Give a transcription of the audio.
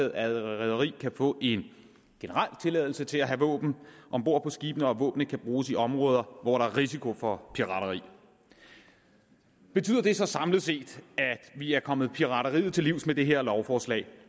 et rederi kan få en generel tilladelse til at have våben om bord på skibene og at våbnene kan bruges i områder hvor der er risiko for pirateri betyder det så samlet set at vi er kommet pirateriet til livs med det her lovforslag